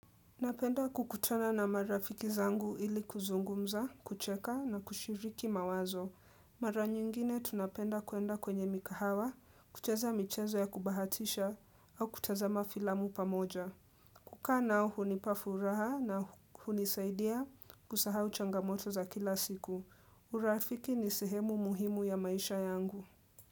Napenda kukutana na marafiki zangu ili kuzungumza, kucheka na kushiriki mawazo. Mara nyingine tunapenda kuenda kwenye mikahawa, kucheza michezo ya kubahatisha au kutazama filamu pamoja. Kuka nao hunipa furaha na hunisaidia kusahau changamoto za kila siku. Urafiki ni sehemu muhimu ya maisha yangu.